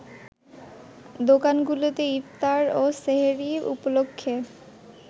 দোকানগুলোতে ইফতার ও সেহরি উপলক্ষে